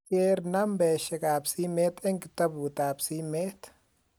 ker nambeshek ab simet eng kitabut ab simet